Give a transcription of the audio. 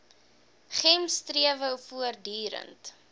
gems strewe voortdurend